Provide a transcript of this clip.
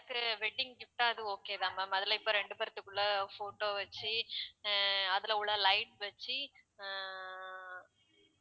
எனக்கு wedding gift ஆ அது okay தான்மா முதல்ல இப்போ ரெண்டு பேர்த்துக்குள்ள photo வச்சு அஹ் அதுல உள்ள light வச்சு அஹ்